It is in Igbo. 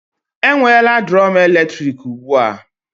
E nwela drum eletrik ụgbụa